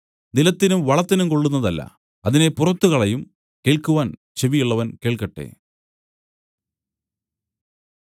പിന്നെ നിലത്തിനും വളത്തിനും കൊള്ളുന്നതല്ല അതിനെ പുറത്തു കളയും കേൾക്കുവാൻ ചെവി ഉള്ളവൻ കേൾക്കട്ടെ